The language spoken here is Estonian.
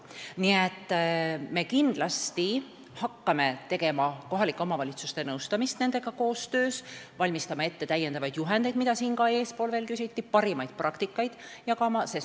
Me hakkame kindlasti kohalike omavalitsuste nõustamist nendega koostöös tegema: valmistama ette täiendavaid juhendeid, mille kohta siin eespool ka küsiti, ja jagama parimaid praktikaid.